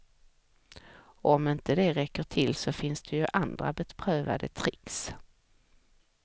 Och om det inte räcker till så finns det ju andra beprövade tricks.